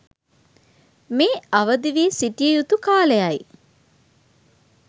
මේ අවදිවී සිටිය යුතු කාලයයි.